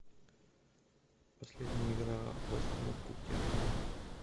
последняя игра вест хэма в кубке англии